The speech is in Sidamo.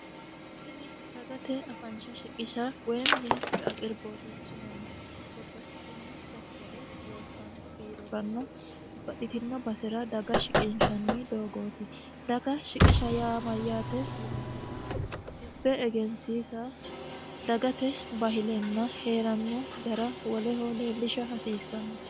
Tini dagate afansha shiqisha woyimi aqiribote babbaxitino sekitere loossano biirora babbaxitino doogonni daga shiqinshannite, daga shiqisha yaa mayate yinuummoro hizibe egensiisa dagate bayilenna heerano gara woleho leellishate.